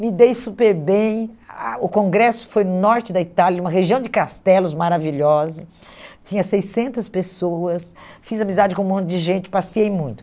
Me dei super bem, a o congresso foi no norte da Itália, uma região de castelos maravilhosa, tinha seiscentas pessoas, fiz amizade com um monte de gente, passeei muito.